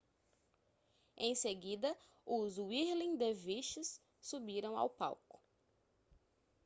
em seguida os whirling dervishes subiram ao palco